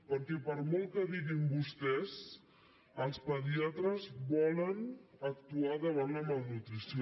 perquè per molt que diguin vostès els pediatres volen actuar davant la malnutrició